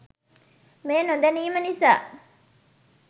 මේ නොදැනීම නිසා